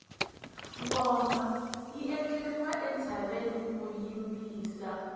ngoma yi endleriwa entshaveni ku yimbisa